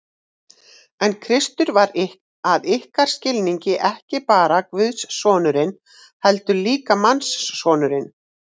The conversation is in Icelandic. En Kristur var að ykkar skilningi ekki bara guðssonurinn, heldur líka mannssonurinn.